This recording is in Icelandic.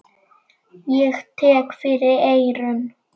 Ég tek fyrir eyrun.